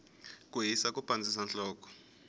ku hisa ku pandzisa nhloko